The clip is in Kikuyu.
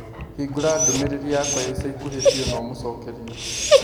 Hĩngũra ndũmĩrĩri yakwa ya ica ikuhĩ biũ na ũmũcokerie.